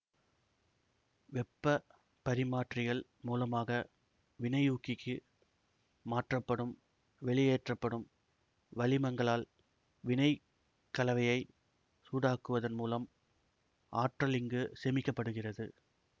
வெப்பப் பரிமாற்றிகள் மூலமாக வினையூக்கிக்கு மாற்றப்படும் வெளியேற்றப்படும் வளிமங்களால் வினைக் கலவையைச் சூடாக்குவதன் மூலம் ஆற்றல் இங்கு சேமிக்க படுகிறது